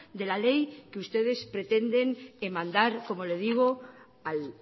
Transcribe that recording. de la ley que ustedes pretenden mandar como le digo al